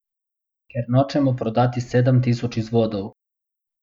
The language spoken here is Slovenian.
Ker nočemo prodati sedem tisoč izvodov.